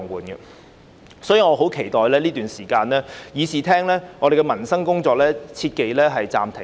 因此，在這段時間，議事堂內的民生工作切忌暫停。